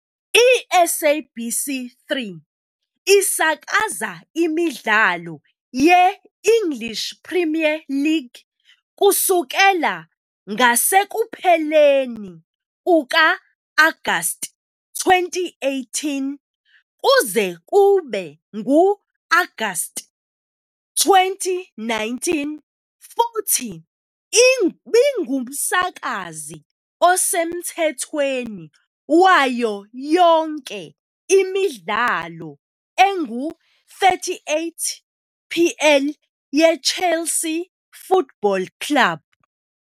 ISABC3 isakaza imidlalo ye-English Premier League kusukela ngasekupheleni kuka-Agasti 2018 kuze kube ngu-Agasti 2019 futhi ibingumsakazi osemthethweni wayo yonke imidlalo engu-38 PL yeChelsea Football Club.